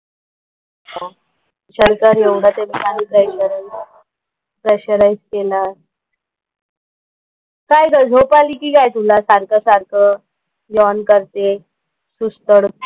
काय ग झोप आली की काय तुला सारखं सारखं यॉन करतेय. सुस्त कुठची.